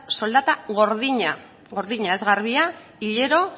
soldata gordina gordina ez garbia hilero